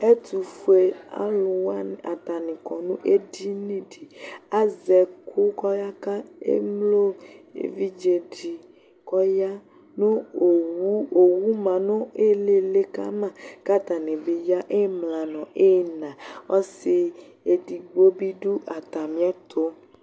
Ɛtʋfuealʋ wanɩ atanɩ kɔ nʋ edini dɩ li Azɛ ɛkʋ kɔyaka emlo evidze dɩ kʋ ɔya nʋ owu, owu ma nʋ ɩɩlɩ ɩɩlɩ ka ma kʋ atanɩ bɩ ya ɩmla nʋ ɩɣɩna Ɔsɩ edigbo bɩ dʋ atamɩɛtʋ